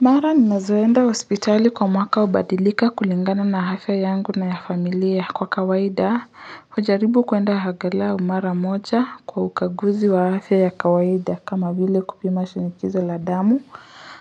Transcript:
Mara ninazoenda hospitali kwa mwaka ubadilika kulingana na hafya yangu na ya familia kwa kawaida. Ujaribu kwenda hagaliau mara moja kwa ukaguzi wa hafya ya kawaida kama vile kupima shinikizo la damu,